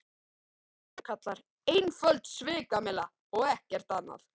GRÍMUR: Einföld svikamylla og ekkert annað.